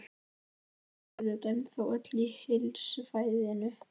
Þú ert auðvitað ennþá öll í heilsufæðinu?